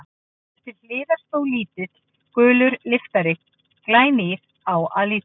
Þar til hliðar stóð lítill, gulur lyftari, glænýr á að líta.